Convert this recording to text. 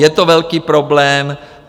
Je to velký problém.